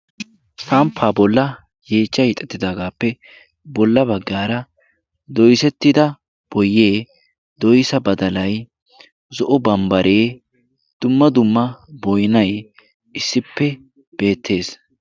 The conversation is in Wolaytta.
Samppaa bolla yeechcha hiixettidaagaappe bolla baggaara doisettida boyee doisa badalai zo'o bambbaree dumma dumma boinai issippe beettees.